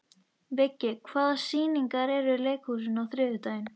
Viggi, hvaða sýningar eru í leikhúsinu á þriðjudaginn?